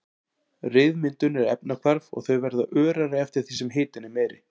Ryðmyndun er efnahvarf og þau verða örari eftir því sem hitinn er meiri.